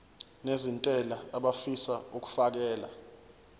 nezentela abafisa uukfakela